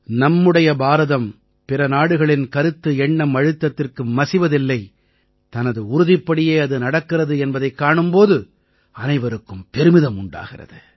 நம்முடைய பாரதம் பிற நாடுகளின் கருத்துஎண்ணம்அழுத்தத்திற்கு மசிவதில்லை தனது உறுதிப்படியே அது நடக்கிறது என்பதைக் காணும் போது அனைவருக்கும் பெருமிதம் உண்டாகிறது